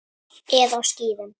Eða á skíðum.